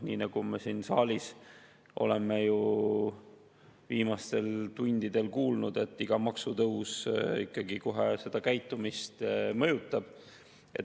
Nii nagu me siin saalis oleme ju viimastel tundidel kuulnud, iga maksutõus ikkagi kohe käitumist mõjutab.